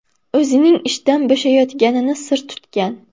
o‘zining ishdan bo‘shayotganini sir tutgan.